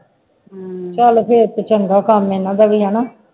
ਚੱਲ ਫੇਰ ਤੇ ਚੰਗਾ ਕੰਮ ਇਹਨਾ ਦਾ ਵੀ ਹੈ ਨਾ